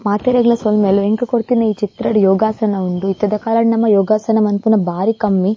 ಮಾತೆರೆಗ್ಲ ಸೊಲ್ಮೆಲು ಎಂಕು ಕೊರ್ತಿನ ಈ ಚಿತ್ರಡ್ ಯೋಗಾಸನ ಉಂಡು ಇತ್ತೆದ ಕಾಲಡ್ ನಮ ಯೋಗಾಸನ ಮನ್ಪುನ ಬಾರಿ ಕಮ್ಮಿ .